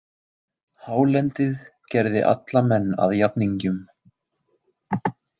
Hálendið gerði alla menn að jafningjum.